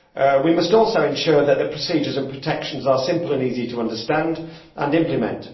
We must also ensure that the procedures and protections are simple and easy to understand and implement.